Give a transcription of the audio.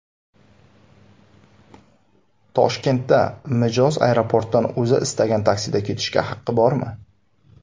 Toshkentda mijoz aeroportdan o‘zi istagan taksida ketishga haqqi bormi?.